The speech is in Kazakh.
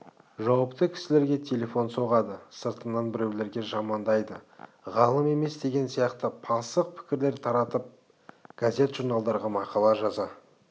жауапты кісілерге телефон соғады сыртыңнан біреулерге жамандайды ғалым емес деген сияқты пасық пікірлер таратып газет-журналдарға мақала жаза